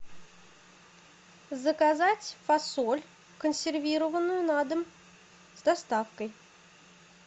заказать фасоль консервированную на дом с доставкой